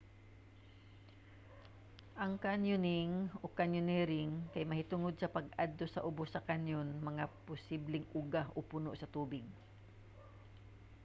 ang kanyoning o: kanyonering kay mahitungod sa pag-adto sa ubos sa canyon nga posibleng uga o puno sa tubig